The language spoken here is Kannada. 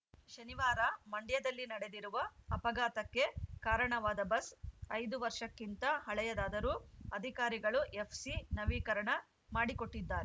ಶನಿವಾರ ಮಂಡ್ಯದಲ್ಲಿ ನಡೆದಿರುವ ಅಪಘಾತಕ್ಕೆ ಕಾರಣವಾದ ಬಸ್‌ ಐದು ವರ್ಷಕ್ಕಿಂತ ಹಳೆಯದಾದರೂ ಅಧಿಕಾರಿಗಳು ಎಫ್‌ಸಿ ನವೀಕರಣ ಮಾಡಿಕೊಟ್ಟಿದ್ದಾ